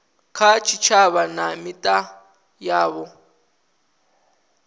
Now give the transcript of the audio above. kha tshitshavha na mita yavho